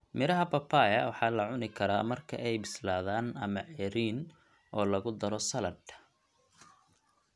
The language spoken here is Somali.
Midhaha papaya waxaala cunikaraa marka ay bislaadaan ama ceeriin oolagu daro saladh.